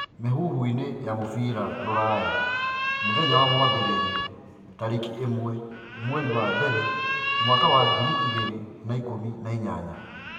Mĩhuhuinĩ ya mũbira ũraya Jumatatũ tarĩkĩ ĩmwe mweri wa mbere mwaka wa ngiri igĩrĩ na ikũmi na inyanya